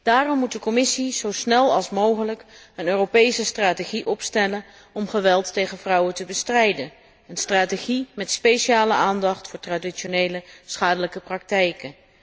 Daarom moet de Commissie zo snel mogelijk een Europese strategie opstellen om geweld tegen vrouwen te bestrijden, een strategie met speciale aandacht voor traditionele schadelijke praktijken.